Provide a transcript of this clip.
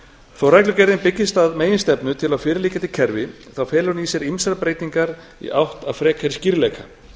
þó reglugerðin byggist að meginstefnu til á fyrirliggjandi kerfi felur hún í sér ýmsar breytingar í átt að frekari skýrleika